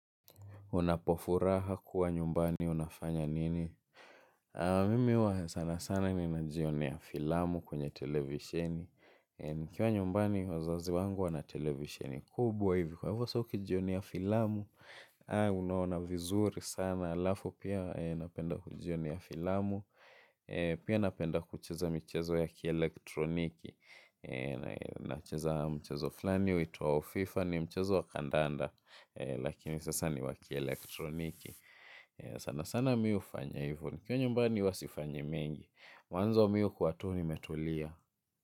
Unapo furaha kuwa nyumbani unafanya nini. Mimi huwa sana sana ninajionea filamu kwenye televisheni. Nikiwa nyumbani wazazi wangu wana televisheni kubwa hivi. Kwa hivo sa ukijionea filamu au unaona vizuri sana alafu pia napenda kujionea filamu. Pia napenda kucheza michezo ya kielektroniki. Nacheza mchezo flani uitwao fifa ni mchezo wa kandanda. Lakini sasa ni wa kielektroniki. Sana sana mi hufanya hivo nikiwa nyumbani huwa sifanyi mengi mwanzo mi hukua tu nimetulia.